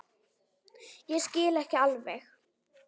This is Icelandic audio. Ég skil ekki alveg